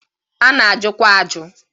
A na ajụkwa ajụ.